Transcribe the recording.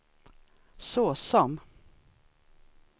såsom